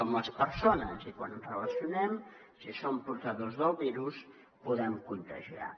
som les persones i quan ens relacionem si som portadors del virus podem contagiar